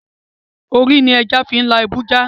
Ori l'eja fin la ibu ja